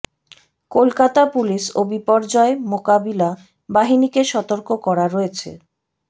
Kolkata police ও বিপর্যয় মোকাবিলা বাহিনীকে সতর্ক করা রয়েছে